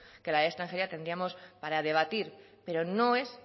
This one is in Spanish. que la ley de extranjería tendríamos para debatir pero no es